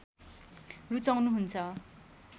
रुचाउनु हुन्छ